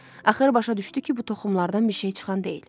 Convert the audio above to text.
Axır başa düşdü ki, bu toxumlardan bir şey çıxan deyil.